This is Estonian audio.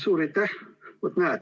Suur aitäh!